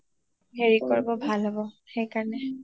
হেৰি কৰিব ভাল হব সেইকাৰণে